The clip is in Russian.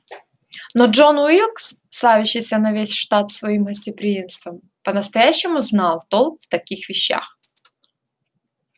но джон уилкс славящийся на весь штат своим гостеприимством по-настоящему знал толк в таких вещах